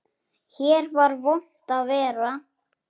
Hér var vont að vera.